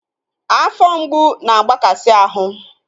Afọ mgbu na-agbakasi ahụ